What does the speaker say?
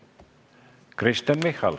Kristen Michal.